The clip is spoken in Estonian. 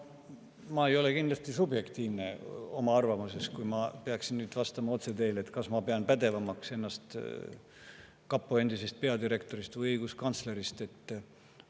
Ma ei ole kindlasti subjektiivne oma arvamuses, kui ma teile nüüd otse vastan, et kas ma pean ennast kapo endisest peadirektorist või õiguskantslerist pädevamaks.